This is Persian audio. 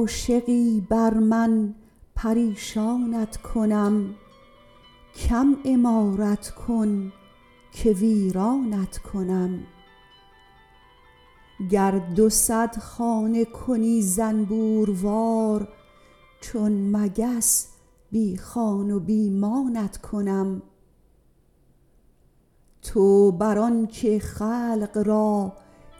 عاشقی بر من پریشانت کنم کم عمارت کن که ویرانت کنم گر دو صد خانه کنی زنبوروار چون مگس بی خان و بی مانت کنم تو بر آنک خلق را